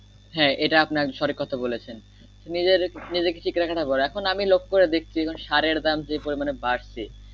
হ্যাঁ এটা আপনার সঠিক কথা বলেছেন নিজের নিজেকে ঠিক রাখা যাবে এখন আমি লক্ষ্য করে দেখছি সারের দাম যে পরিমানে বাড়ছে